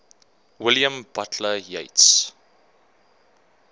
william butler yeats